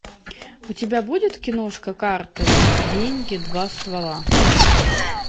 у тебя будет киношка карты деньги два ствола